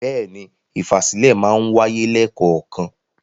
Bẹ́ẹ̀ni, ìfàsílẹ̀ máa ń wáyé lẹ́kọ̀ọ̀kan.